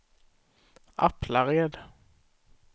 Aplared